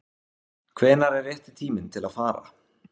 Hvenær er rétti tíminn til að fara?